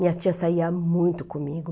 Minha tia saía muito comigo.